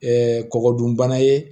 kɔkɔ dun bana ye